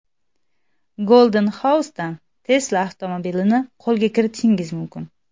Golden House’dan Tesla avtomobilini qo‘lga kiritishingiz mumkin!.